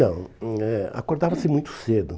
Não, hum eh acordava-se muito cedo.